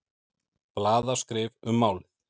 Blaðaskrif um málið.